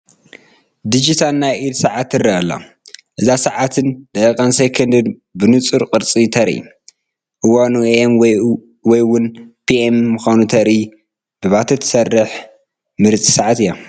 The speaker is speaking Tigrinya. ዲጂታል ናይ ኢድ ሰዓት ትርአ ኣላ፡፡ እዛ ሰዓት ሰዓትን፣ ደቂቓን ሴኮንድን ብንፁር ቁፅሪ ተርኢ፡፡ እዋኑ AM ወይ እውን PM ምዃኑ ተርኢ ብባትሪ ትሰርሕ ምርፅቲ ሰዓት እያ፡፡